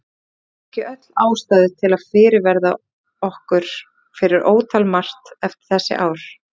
Höfum við ekki öll ástæðu til að fyrirverða okkur fyrir ótal margt eftir þessi ár?